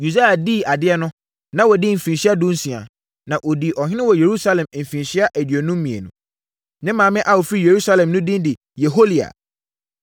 Usia dii adeɛ no, na wadi mfirinhyia dunsia, na ɔdii ɔhene wɔ Yerusalem mfirinhyia aduonum mmienu. Ne maame a ɔfiri Yerusalem no din de Yeholia.